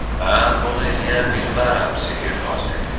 Mən bunu eləyə bilmərəm, sehrbaz dedi.